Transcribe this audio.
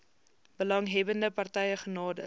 belanghebbende partye genader